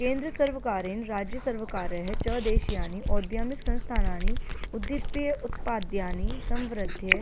केन्द्रसर्वकारेण राज्यसर्वकारैः च देशीयानि औद्यमिकसंस्थानानि उद्दीप्य उत्पाद्यानि संवृध्य